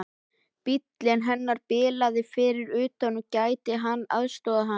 Bíllinn hennar bilaði fyrir utan, gæti hann aðstoðað hana?